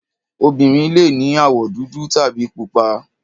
Obìnrin le ní àwọ̀ dúdú tàbí pupa.